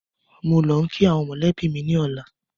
Mò ń lọ kii àwọn mọ́lẹ̀bi mi ni ọ̀la